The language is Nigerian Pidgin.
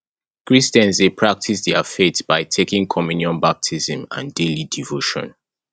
christians dey practice their faith by taking communion baptism and daily devotion